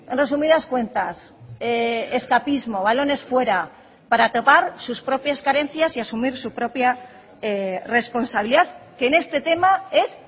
resumidas cuentas escapismo balones fuera para topar sus propias carencias y asumir su propia responsabilidad que en este tema es